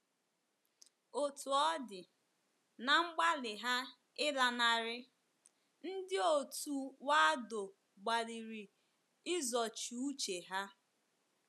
Otú ọ dị, ná mgbalị ha ịlanarị, ndị òtù Waldo gbalịrị izochi uche ha.